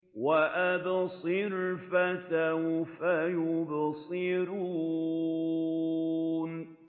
وَأَبْصِرْ فَسَوْفَ يُبْصِرُونَ